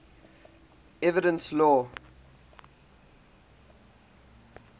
evidence law